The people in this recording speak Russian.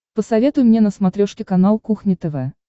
посоветуй мне на смотрешке канал кухня тв